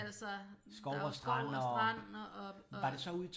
Altså der er jo skov og strand og og